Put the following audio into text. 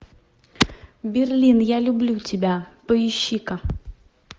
берлин я люблю тебя поищи ка